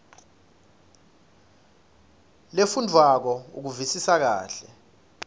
lefundvwako ukuvisisa kahle